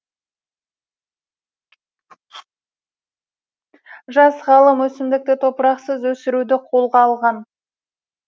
жас ғалым өсімдікті топырақсыз өсіруді қолға алған